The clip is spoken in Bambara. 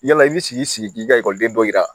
Yala i bi sigi sigi k'i ka ekɔliden dɔ yira